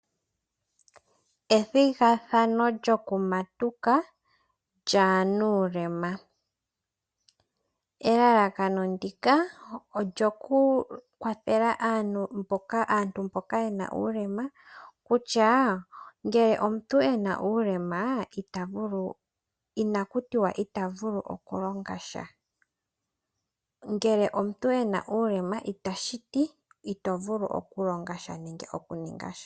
Ethigathano lyokumatuka lyaanuulema, elalakano ndika olyo ku kwathele aantu mboka yena uulema, kutya ngele omuntu ena uulema ina kutiwa ita vulu oku longa sha. Ngele omuntu ena uulema itashiti ito vulu okulonga sha nenge okuninga sha.